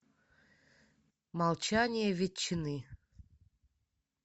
молчание ветчины